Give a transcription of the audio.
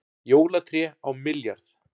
Jólatré á milljarð